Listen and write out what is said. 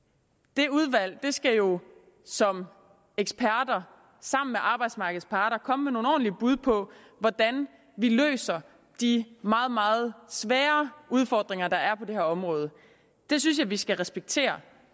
det udvalg skal jo som eksperter sammen med arbejdsmarkedets parter komme med nogle ordentlige bud på hvordan vi løser de meget meget svære udfordringer der er på det her område det synes jeg vi skal respektere